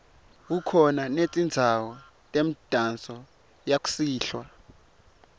kukhona netindzawo temidanso yakusihlwa